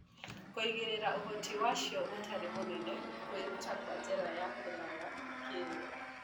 Kũigĩrĩra ũhoti wacio ũtarĩ mũnene kwĩruta na njĩra ya kũraya kĩyo